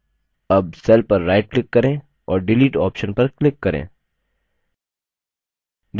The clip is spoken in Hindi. अब cell पर right click करें और delete option पर click करें